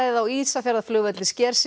á Ísafjarðarflugvelli sker sig